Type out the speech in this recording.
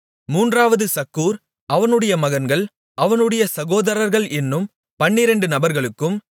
மூன்றாவது சக்கூர் அவனுடைய மகன்கள் அவனுடைய சகோதரர்கள் என்னும் பன்னிரெண்டு நபர்களுக்கும்